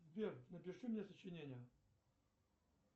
сбер напиши мне сочинение